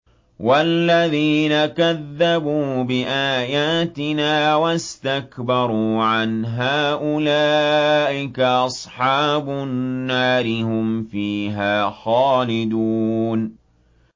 وَالَّذِينَ كَذَّبُوا بِآيَاتِنَا وَاسْتَكْبَرُوا عَنْهَا أُولَٰئِكَ أَصْحَابُ النَّارِ ۖ هُمْ فِيهَا خَالِدُونَ